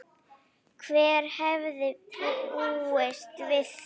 Hver hefði búist við því?